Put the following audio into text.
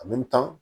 tan